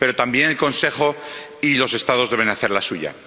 Pero también el Consejo y los Estados deben hacer la suya.